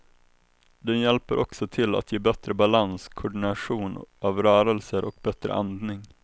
Den hjälper också till att ge bättre balans, koordination av rörelser och bättre andning.